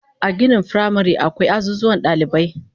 A ginin firamare akwai azuzuwan dalibai